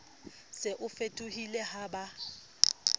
se o fetohile ha ba